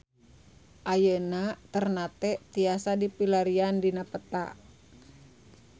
Ayeuna Ternate tiasa dipilarian dina peta